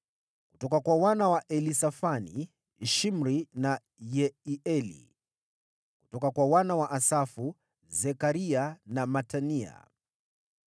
kutoka kwa wana wa Elisafani, Shimri na Yeieli; kutoka kwa wana wa Asafu, Zekaria na Matania;